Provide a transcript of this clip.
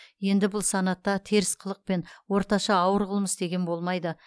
енді бұл санатта теріс қылық пен орташа ауыр қылмыс деген болмайды